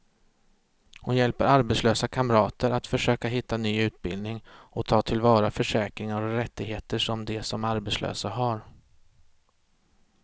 Hon hjälper arbetslösa kamrater att försöka hitta ny utbildning och ta till vara försäkringar och rättigheter som de som arbetslösa har.